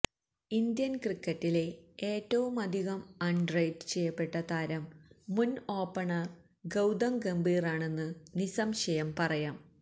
Indian ക്രിക്കറ്റിലെ ഏറ്റവുമധികം underrate ചെയ്യപ്പെട്ട താരം മുന് ഓപ്പണര് ഗൌതം ഗംഭീറാണെന്നു നിസംശയം പറയാം